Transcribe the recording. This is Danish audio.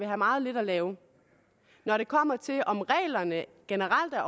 have meget lidt at lave når det kommer til om reglerne generelt er